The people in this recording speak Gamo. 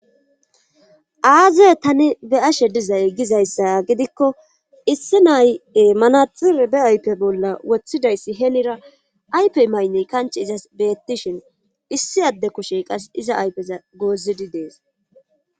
Aaze tani be ashe dizay gizayssa gidikko issi naye manaxir be aype bolla woththidayssi heenira aypey maynney kanch izas beettishin issi adde kushey qas iza aypeza goozidi dees